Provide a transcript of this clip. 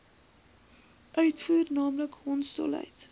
uitvoer naamlik hondsdolheid